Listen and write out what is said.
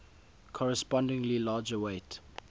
correspondingly larger weight